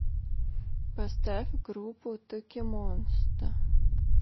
поставь группу токимонста